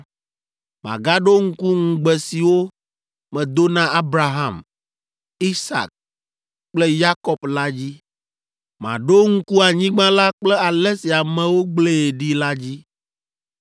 magaɖo ŋku ŋugbe siwo medo na Abraham, Isak kple Yakob la dzi. Maɖo ŋku anyigba la kple ale si amewo gblẽe ɖi la dzi,